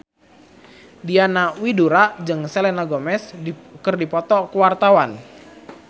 Diana Widoera jeung Selena Gomez keur dipoto ku wartawan